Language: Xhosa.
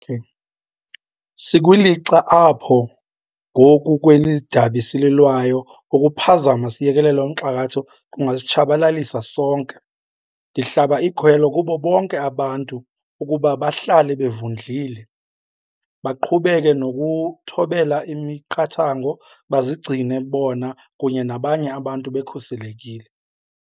Sikwilixa apho ngoku kweli dabi sililwayo ukuphazama siyekelele umxakatho kungasitshabalalisa sonke. Ndihlaba ikhwelo kubo bonke abantu ukuba bahlale bevundlile, baqhubeke nokuthobela imiqathango, bazigcine bona kunye nabanye abantu bekhuselekile.